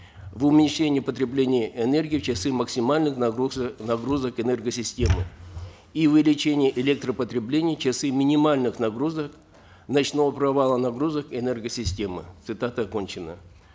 в уменьшении потребления энергии в часы максимальных нагрузок энергосистемы и увеличение электропотреблений в часы минимальных нагрузок ночного провала нагрузок энергосистемы цитата окончена